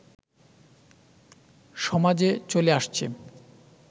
সমাজে চলে আসছে